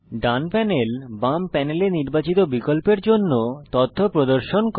ডান panel বাম প্যানেলে নির্বাচিত বিকল্পের জন্য তথ্য প্রদর্শন করে